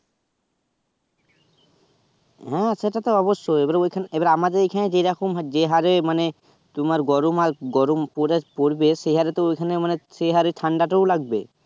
হ্যাঁ সেটা তো অবশ্যই ওই খানে এবার আমাদের এই খানে যে রকম যে হারে মানে তোমার গরমাল গরম পরে~ পরবে সে হারে তো ঐ খানে তো সে হারে ঠাণ্ডা টাও লাগবে